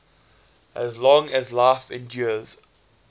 as long as life endures